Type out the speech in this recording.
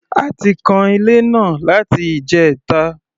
A ti kan ilé náà láti ìjẹta.